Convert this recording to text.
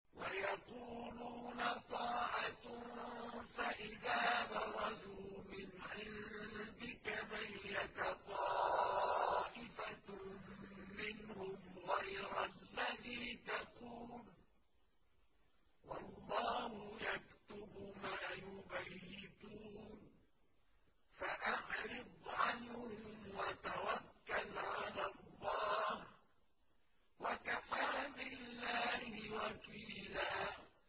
وَيَقُولُونَ طَاعَةٌ فَإِذَا بَرَزُوا مِنْ عِندِكَ بَيَّتَ طَائِفَةٌ مِّنْهُمْ غَيْرَ الَّذِي تَقُولُ ۖ وَاللَّهُ يَكْتُبُ مَا يُبَيِّتُونَ ۖ فَأَعْرِضْ عَنْهُمْ وَتَوَكَّلْ عَلَى اللَّهِ ۚ وَكَفَىٰ بِاللَّهِ وَكِيلًا